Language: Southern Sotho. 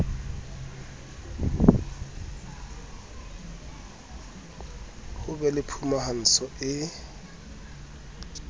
ho be le phumantsho e